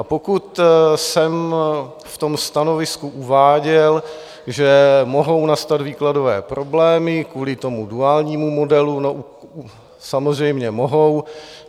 A pokud jsem v tom stanovisku uváděl, že mohou nastat výkladové problémy kvůli tomu duálnímu modelu -samozřejmě mohou.